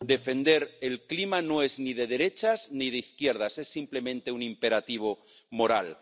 Defender el clima no es ni de derechas ni de izquierdas. Es, simplemente, un imperativo moral.